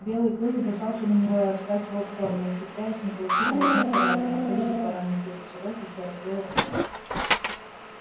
белый клык бросался на него и отскакивал в сторону ухитряясь не получить ни одной царапины а количество ран на теле чероки всё росло и росло